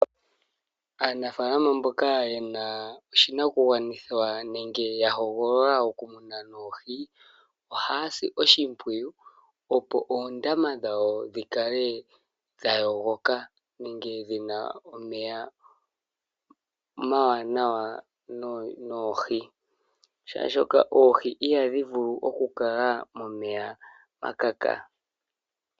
Aanafalama mboka yena oshinakungwanithwa, nenge yahogolola okumuna oohi ohazi oshipwiyu opo oondama dhawo dhikale dhayogoka ,nenge dhina omeya omanawa noohi oshoka oohi ihadhivulu oku kala momeya gakaka